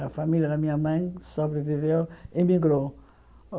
A família da minha mãe sobreviveu e migrou.